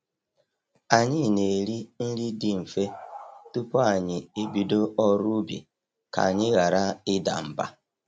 Anyị na-eri nri dị mfe tupu anyị e bido ọrụ ubi ka anyị ghara ịda mba.